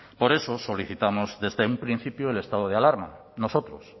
por eso solicitamos desde un principio el estado de alarma nosotros